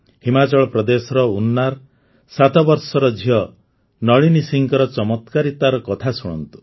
ହିମାଚଳ ପ୍ରଦେଶର ଉନାର ୭ ବର୍ଷର ଝିଅ ନଳିନୀ ସିଂଙ୍କ ଚମତ୍କାରିତାର କଥା ଶୁଣନ୍ତୁ